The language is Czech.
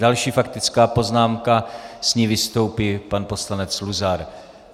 Další faktická poznámka, s ní vystoupí pan poslanec Luzar.